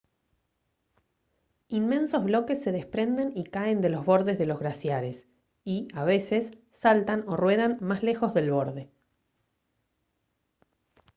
inmensos bloques se desprenden y caen de los bordes de los glaciares y a veces saltan o ruedan más lejos del borde